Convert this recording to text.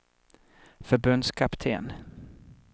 förbundskapten